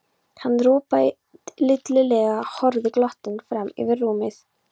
Hann ropaði lítillega og horfði glottandi fram yfir rúmið.